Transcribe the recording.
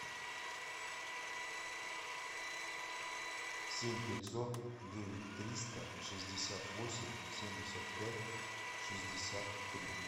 семь пятьсот девять триста шестьдесят восемь семьдесят пять шестьдесят три